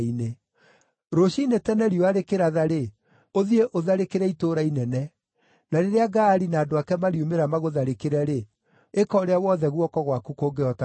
Rũciinĩ tene riũa rĩkĩratha-rĩ, ũthiĩ ũtharĩkĩre itũũra inene. Na rĩrĩa Gaali na andũ ake mariumĩra magũtharĩkĩre-rĩ, ĩka ũrĩa wothe guoko gwaku kũngĩhota gwĩka.”